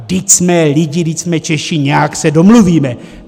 Vždyť jsme lidé, vždyť jsme Češi, nějak se domluvíme.